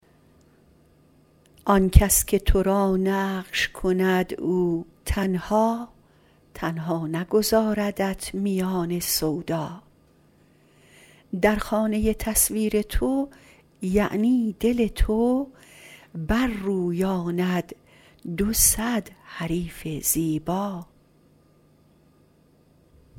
آن کس که ترا نقش کند او تنها تنها نگذاردت میان سودا در خانه تصویر تو یعنی دل تو بر رویاند دو صد حریف زیبا